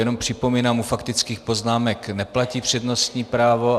Jenom připomínám, u faktických poznámek neplatí přednostní právo.